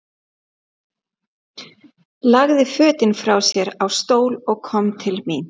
Lagði fötin frá sér á stól og kom til mín.